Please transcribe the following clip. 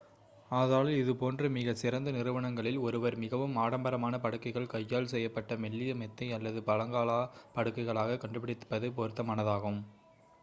ஆதலால் இதுபோன்ற மிகச் சிறந்த நிறுவனங்களில் ஒருவர் மிகவும் ஆடம்பரமான படுக்கைகள் கையால் செய்யப்பட்ட மெல்லிய மெத்தை அல்லது பழங்கால படுக்கைகளை கண்டுபிடிப்பது பொருத்தமானதாகும்